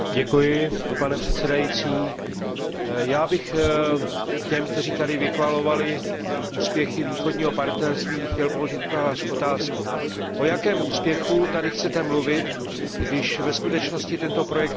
Pane předsedající, já bych těm, kteří tady vychvalovali úspěchy Východního partnerství, chtěl položit otázku O jakém úspěchu tady chcete mluvit, když ve skutečnosti tento projekt krachuje?